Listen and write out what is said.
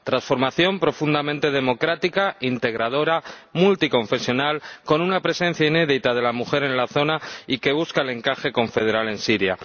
Transformación profundamente democrática, integradora, multiconfesional, con una presencia inédita de la mujer en la zona y que busca el encaje confederal en Siria.